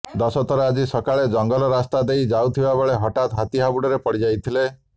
ଦଶରଥ ଆଜି ସକାଳେ ଜଙ୍ଗଲ ରାସ୍ତା ଦେଇ ଯାଉଥିବାବେଳେ ହତାଠ୍ ହାତୀ ହାବୁଡରେ ପଡିଯାଇଥିଲେ